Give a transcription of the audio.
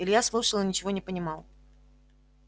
илья слушал и ничего не понимал